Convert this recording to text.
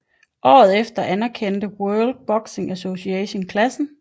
Året efter anerkendte også World Boxing Association klassen